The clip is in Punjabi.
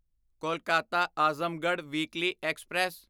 Kolkata Azamgarh weekly express